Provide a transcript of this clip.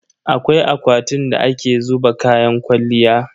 Akwai akwatin da ake zuba kayan kwalliya.